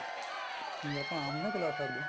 ਵੀ ਆਪਾਂ ਆਮ ਨੀ ਨਾ ਚਲਾ ਸਕਦੇ